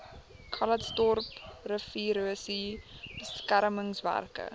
calitzdorp riviererosie beskermingswerke